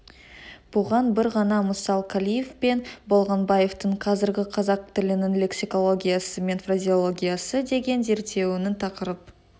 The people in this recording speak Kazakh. бұған бір ғана мысал қалиев пен болғанбаевтың қазіргі қазақ тілінің лексикологиясы мен фразеологиясы деген зерттеуінің тақырып